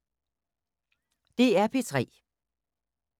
DR P3